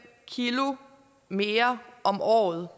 kilo mere om året